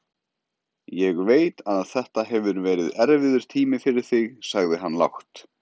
Ég veit að þetta hefur verið erfiður tími fyrir þig, sagði hann lágt.